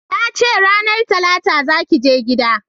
Na ce ranar talata za ki je gida!